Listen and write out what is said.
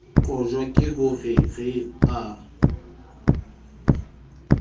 qojwa ke ho re a